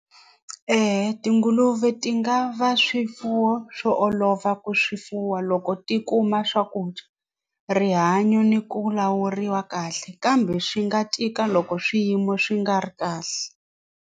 Eya tinguluve ti nga va swifuwo swo olova ku swi fuwa loko ti kuma swakudya rihanyo ni ku lawuriwa kahle kambe swi nga tika loko swiyimo swi nga ri kahle.